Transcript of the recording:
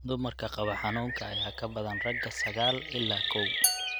Dumarka qaba xanuunka ayaa ka badan ragga sagaal ilaa koow.